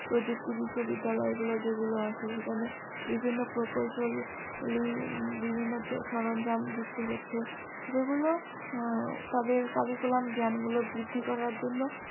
প্রযুক্তি বিশ্ববিদ্যালয় গুলো যেগুলো আছে সেখানে বিভিন্ন বিভিন্ন সরঞ্জাম যুক্ত হচ্ছে যেগুলো তাদের cariculam জ্ঞানগুলো বৃদ্ধি করার জন্য